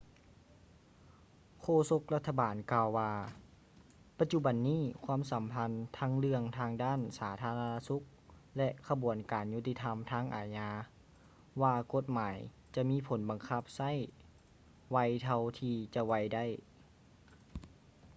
ໂຄສົກລັດຖະບານກ່າວວ່າ ປັດຈຸບັນນີ້ຄວາມສຳຄັນທັງເລື່ອງທາງດ້ານສາທາລະນະສຸກ ແລະ ຂະບວນການຍຸດຕິທຳທາງອາຍາ ວ່າກົດໝາຍຈະມີຜົນບັງຄັບໃຊ້ໄວເທົ່າທີ່ຈະໄວໄດ້